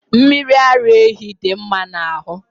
mmiri ara ehi dị mma n'ahụ